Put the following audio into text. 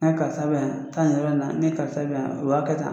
Ne karisa be yan taa nin yɛrɛ in na ne karisa be yan o b'a kɛ tan